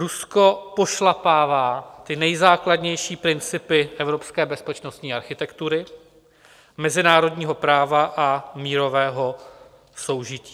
Rusko pošlapává ty nejzákladnější principy evropské bezpečnostní architektury, mezinárodního práva a mírového soužití.